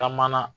Ka mana